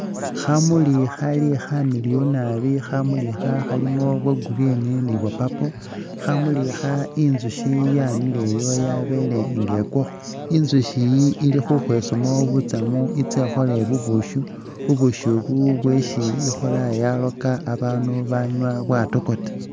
Khamuli khali khamiliyu nabi, khamuli akha khalimo bwo green ni bwa purple, khamuli akha inzushi yamileyo yabele nga ekwakho, inzushi iyi ili khukhwesamu butsamu itse'khole bubushi ,bubushi ubu bwesi ikhola yalooka abanu babanywa bwatokota